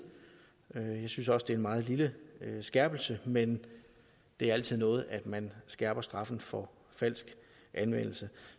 og jeg synes også det er en meget lille skærpelse men det er altid noget at man skærper straffen for falsk anmeldelse